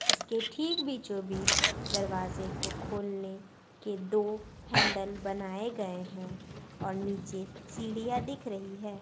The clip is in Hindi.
इसके ठीक बीचों-बीच दरवाजे को खोलने के दो हैंडल बनाए गए है और नीचे सीढ़ियां दिख रही है।